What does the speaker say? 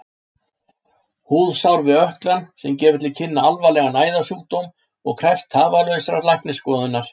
Húðsár við ökklann sem gefur til kynna alvarlegan æðasjúkdóm og krefst tafarlausrar læknisskoðunar.